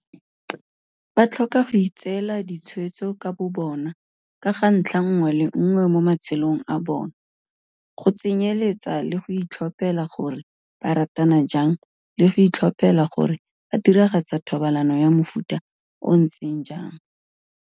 Ba tlhoka go itseela ditshwetso ka bobona ka ga ntlha nngwe le nngwe mo ma-tshelong a bona, go tsenyeletsa le go itlhophela gore ba ratana jang le go itlhophela gore ba diragatsa thobalano ya mofuta o o ntseng jang.